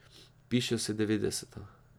Pišejo se devetdeseta.